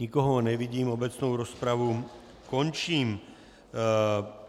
Nikoho nevidím, obecnou rozpravu končím.